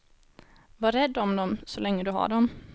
Var rädd om dem så länge du har dem.